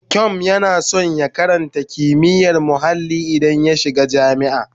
Kyom yana son ya karata kimiyyar muhalli idan ya shiga jami'a.